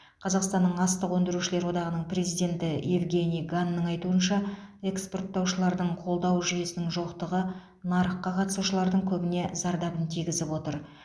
қазақстанның астық өңдеушілер одағының президенті евгений ганның айтуынша экспорттаушыларды қолдау жүйесінің жоқтығы нарыққа қатысушылардың көбіне зардабын тигізіп отыр